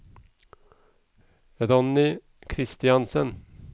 Ronny Christiansen